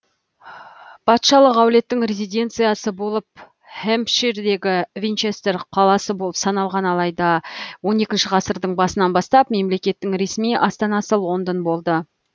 патшалық әулеттің резиденциясы болып хэмпширдегі винчестер қаласы болып саналған алайда он екінші ғасырдың басынан бастап мемлекеттің ресми астанасы лондон болды